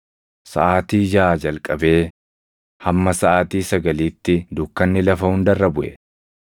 Saʼaatii jaʼaa jalqabee hamma saʼaatii sagaliitti dukkanni lafa hunda irra buʼe.